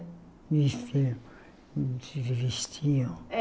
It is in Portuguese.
Vestiam se vestiam?